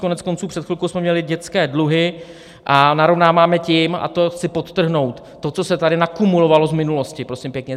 Koneckonců před chvilkou jsme měli dětské dluhy a narovnáváme tím, a to chci podtrhnout, to, co se tady nakumulovalo z minulosti, prosím pěkně.